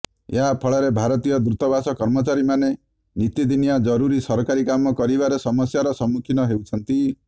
ଏହା ଫଳରେ ଭାରତୀୟ ଦୂତାବାସ କର୍ମଚାରୀମାନେ ନିତିଦିନିଆ ଜରୁରୀ ସରକାରୀ କାମ କରିବାରେ ସମସ୍ୟାର ସମ୍ମୁଖୀନ ହେଉଛନ୍ତି